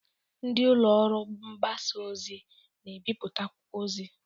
Ndị ụlọ ọrụ mgbasa ozi n'ebiputa akwụkwọ ozi